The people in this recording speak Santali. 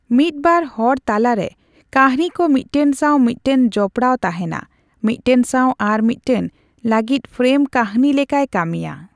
ᱢᱤᱫ ᱵᱟᱨ ᱨᱚᱲ ᱛᱟᱞᱟᱨᱮ, ᱠᱟᱦᱱᱤᱠᱚ ᱢᱤᱫᱴᱟᱝ ᱥᱟᱣ ᱢᱤᱫᱴᱟᱝ ᱡᱚᱯᱲᱟᱣ ᱛᱟᱦᱮᱸᱱᱟ, ᱢᱤᱫᱴᱟᱝ ᱥᱟᱣ ᱟᱨ ᱢᱤᱫᱴᱟᱝ ᱞᱟᱹᱜᱤᱫ ᱯᱷᱨᱮᱢ ᱠᱟᱦᱱᱤ ᱞᱮᱠᱟᱭ ᱠᱟᱹᱢᱤᱭᱟ ᱾